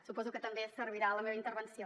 suposo que també servirà la meva intervenció